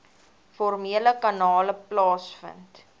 formele kanale plaasvind